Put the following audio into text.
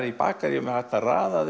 í bakaríum er hægt að raða